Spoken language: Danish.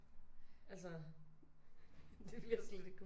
Altså det ville jeg slet ikke kunne